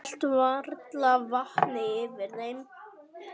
Hélt varla vatni yfir þeim.